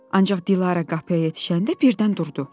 Ancaq Dilarə qapıya yetişəndə birdən durdu.